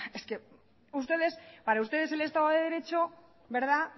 sea es que ustedes es que para ustedes el estado de derecho